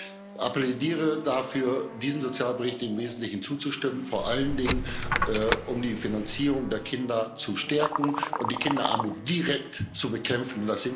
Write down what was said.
Ich appelliere dafür, diesem Sozialbericht im Wesentlichen zuzustimmen, vor allen Dingen, um die Finanzierung der Kinder zu stärken und die Kinderarmut direkt zu bekämpfen.